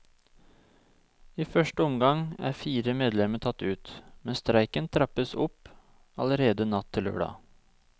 I første omgang er fire medlemmer tatt ut, men streiken trappes opp allerede natt til lørdag.